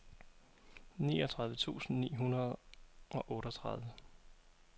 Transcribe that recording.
niogtredive tusind ni hundrede og otteogtredive